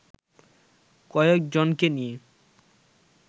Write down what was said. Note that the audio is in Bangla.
কয়েকজনকে নিয়ে